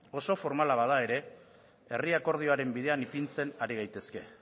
oso formala bada ere herri akordioaren bidean ipintzen ari gaitezke